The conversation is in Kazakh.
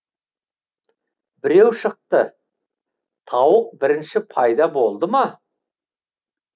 біреу шықты тауық бірінші пайда болды ма